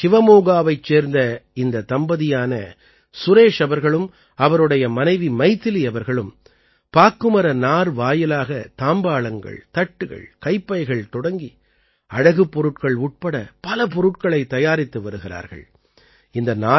கர்நாடகத்தின் ஷிவமோகாவைச் சேர்ந்த இந்த தம்பதியான சுரேஷ் அவர்களும் அவருடைய மனைவி மைதிலி அவர்களும் பாக்குமர நார் வாயிலாகத் தாம்பாளங்கள் தட்டுகள் கைப்பைகள் தொடங்கி அழகுப் பொருட்கள் உட்பட பல பொருட்களைத் தயாரித்து வருகிறார்கள்